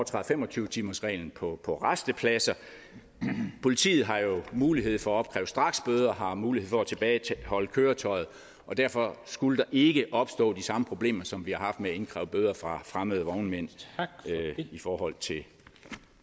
fem og tyve timersreglen på på rastepladser politiet har jo mulighed for at opkræve straksbøder og har mulighed for at tilbageholde køretøjet og derfor skulle der ikke opstå de samme problemer som vi har haft med at indkræve bøder fra fremmede vognmænd i forhold til